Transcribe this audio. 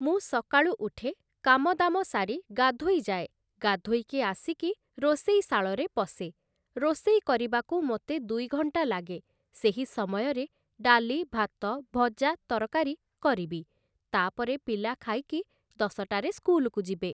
ମୁଁ ସକାଳୁ ଉଠେ କାମ ଦାମ ସାରି ଗାଧୋଇ ଯାଏ, ଭଗାଧୋଇକି ଆସିକି ରୋଷେଇଶାଳରେ ପଶେ, ରୋଷେଇ କରିବାକୁ ମୋତେ ଦୁଇଘଣ୍ଟା ଲାଗେ ସେହି ସମୟରେ ଡାଲି ଭାତ ଭଜା ତରକାରୀ କରିବି, ତାପରେ ପିଲା ଖାଇକି ଦଶଟାରେ ସ୍କୁଲକୁ ଯିବେ ।